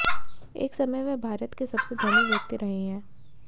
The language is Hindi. एक समय वे भारत के सबसे धनी व्यक्ति रहे हैं